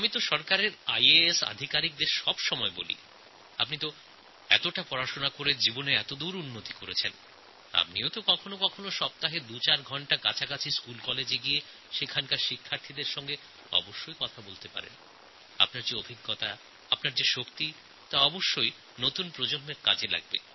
আমি তো আমার আইএএস আধিকারিকদের বলি আপনারা লেখাপড়া করে এতদূর এগিয়েছেন আপনারা কখনও কখনও সপ্তাহে দুচার ঘণ্টা আপনাদের কাছাকাছি স্কুলকলেজে গিয়ে বাচ্চাদের সঙ্গে কথা বলুন আপনাদের উপলব্ধি আপনাদের ভাবনাশক্তি এই নতুন প্রজন্মের কাজে লাগবে